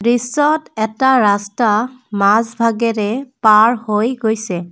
দৃশ্যত এটা ৰাস্তা মাজভাগেৰে পাৰ হৈ গৈছে।